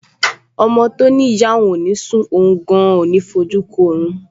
Ọmọ tó ní ìyá òun ò ní sùn, òun gan-an ò ní fojú kan orun